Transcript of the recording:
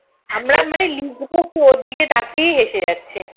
আমরা মানে লিখব কি ওর দিকে তাকিয়ে হেসে যাচ্ছি